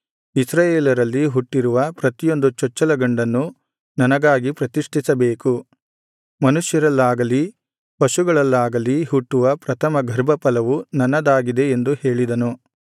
ಇಸ್ರಾಯೇಲರಲ್ಲಿ ಹುಟ್ಟಿರುವ ಪ್ರತಿಯೊಂದು ಚೊಚ್ಚಲ ಗಂಡನ್ನು ನನಗಾಗಿ ಪ್ರತಿಷ್ಠಿಸಬೇಕು ಮನುಷ್ಯರಲ್ಲಾಗಲೀ ಪಶುಗಳಲ್ಲಾಗಲೀ ಹುಟ್ಟುವ ಪ್ರಥಮ ಗರ್ಭಫಲವು ನನ್ನದಾಗಿದೆ ಎಂದು ಹೇಳಿದನು